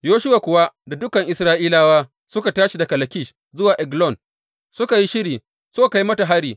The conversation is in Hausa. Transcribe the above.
Yoshuwa kuwa da dukan Isra’ilawa suka tashi daga Lakish zuwa Eglon; suka yi shiri suka kai mata hari.